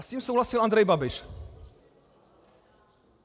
A s tím souhlasil Andrej Babiš.